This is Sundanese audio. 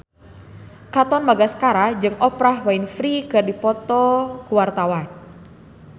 Katon Bagaskara jeung Oprah Winfrey keur dipoto ku wartawan